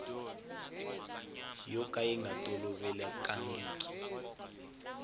yo ka yi nga tolovelekangiki